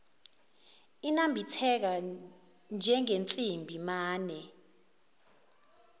inambitheka njengensimbi mane